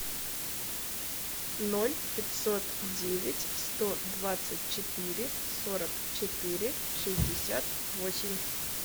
ноль пятьсот девять сто двадцать четыре сорок четыре шестьдесят восемь